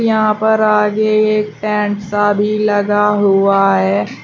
यहां पर आगे एक टैंट सा भी लगा हुआ है।